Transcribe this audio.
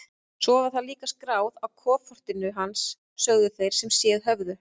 Svo var það líka skráð á kofortin hans, sögðu þeir sem séð höfðu.